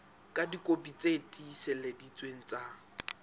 ka dikopi tse tiiseleditsweng tsa